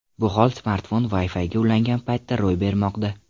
Bu hol smartfon Wi-Fi’ga ulangan paytda ro‘y bermoqda.